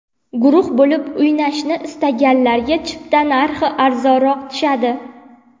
Guruh bo‘lib o‘ynashni istaganlarga chipta narxi arzonroq tushadi.